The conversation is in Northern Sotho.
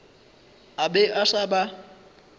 a be a sa ba